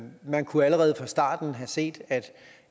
man kunne allerede fra starten have set at